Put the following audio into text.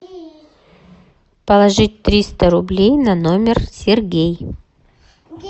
положить триста рублей на номер сергей